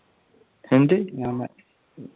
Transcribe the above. എന്ത്